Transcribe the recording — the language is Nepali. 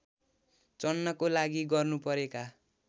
चढ्नको लागि गर्नुपरेका